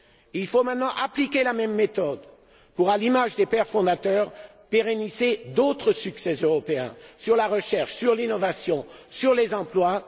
Il faut maintenant appliquer la même méthode pour, à l'image des pères fondateurs, pérenniser d'autres succès européens dans le domaine de la recherche, de l'innovation, des emplois.